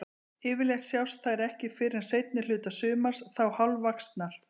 Yfirleitt sjást þær ekki fyrr en seinni hluta sumars, þá hálfvaxnar.